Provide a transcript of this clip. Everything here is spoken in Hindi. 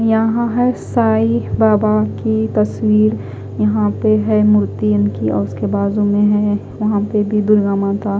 यहा है साईं बाबा की तसवीर यहा पे है मूर्ति इनकी और इसके बाजु में है यह पे भी दुर्गा माता--